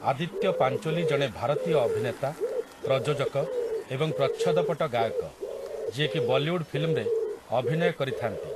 ଆଦିତ୍ୟ ପାଞ୍ଚୋଲି ଜଣେ ଭାରତୀୟ ଅଭିନେତା, ପ୍ରଯୋଜକ ଏବଂ ପ୍ରଚ୍ଛଦପଟ ଗାୟକ, ଯିଏକି ବଲିଉଡ ଫିଲ୍ମରେ ଅଭିନୟ କରିଥାନ୍ତି ।